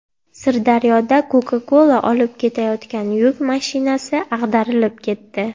Sirdaryoda Coca-Cola olib ketayotgan yuk mashinasi ag‘darilib ketdi .